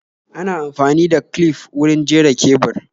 Ana amfani da clif wurin jera kebur